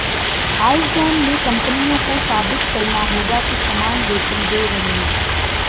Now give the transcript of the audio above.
Iceland में कंपनियों को साबित करना होगा कि समान वेतन दे रहे हैं